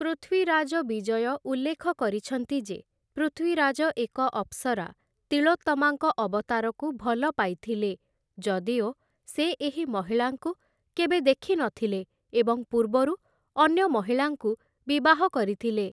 ପୃଥ୍ୱୀରାଜ ବିଜୟ ଉଲ୍ଲେଖ କରିଛନ୍ତି ଯେ ପୃଥ୍ୱୀରାଜ ଏକ ଅପ୍‌ସରା ତିଳୋତ୍ତମାଙ୍କ ଅବତାରକୁ ଭଲ ପାଇଥିଲେ, ଯଦିଓ ସେ ଏହି ମହିଳାଙ୍କୁ କେବେ ଦେଖିନଥିଲେ ଏବଂ ପୂର୍ବରୁ ଅନ୍ୟ ମହିଳାଙ୍କୁ ବିବାହ କରିଥିଲେ ।